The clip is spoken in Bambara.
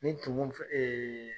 Nin tumu fɛ